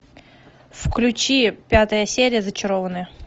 включи пятая серия зачарованные